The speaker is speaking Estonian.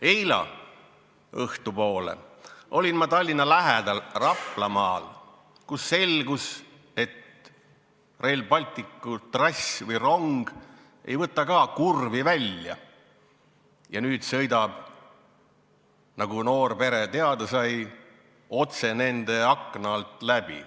Eile õhtupoole olin ma Tallinna lähedal Raplamaal, kus samuti selgus, et Rail Balticu trass ei võta kurvi välja ja rong hakkab sõitma, nagu noor pere teada sai, otse nende akna alt läbi.